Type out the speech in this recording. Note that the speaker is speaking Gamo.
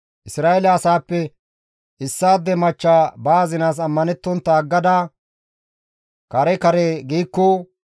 «Isra7eele asaappe issaade machcha ba azinaas ammanettontta aggada kare kare giikko,